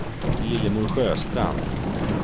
Lillemor Sjöstrand